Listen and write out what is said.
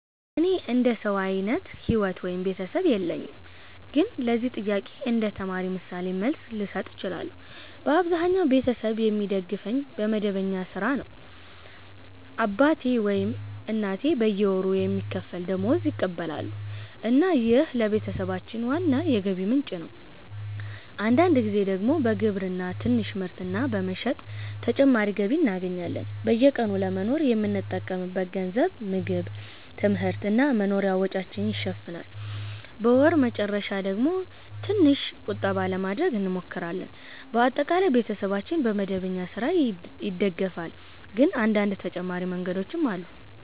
እኔ እንደ ሰው አይነት ሕይወት ወይም ቤተሰብ የለኝም፣ ግን ለዚህ ጥያቄ እንደ ተማሪ ምሳሌ መልስ ልሰጥ እችላለሁ። በአብዛኛው ቤተሰቤ የሚደግፈኝ በመደበኛ ሥራ ነው። አባቴ ወይም እናቴ በየወሩ የሚከፈል ደመወዝ ይቀበላሉ እና ይህ ለቤተሰባችን ዋና የገቢ ምንጭ ነው። አንዳንድ ጊዜ ደግሞ በግብርና ትንሽ ምርት እና በመሸጥ ተጨማሪ ገቢ እናገኛለን። በየቀኑ ለመኖር የምንጠቀምበት ገንዘብ ምግብ፣ ትምህርት እና መኖሪያ ወጪዎችን ይሸፍናል። በወር መጨረሻ ደግሞ ትንሽ ቁጠባ ለማድረግ እንሞክራለን። በአጠቃላይ ቤተሰባችን በመደበኛ ሥራ ይደገፋል፣ ግን አንዳንድ ተጨማሪ መንገዶችም አሉ።